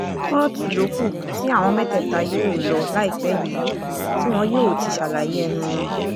kóòtù ló kù tí àwọn mẹ́tẹ̀ẹ̀ta yóò lò láìpẹ́ yìí tí wọn yóò ti ṣàlàyé ẹnu wọn